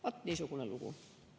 Vat niisugune lugu.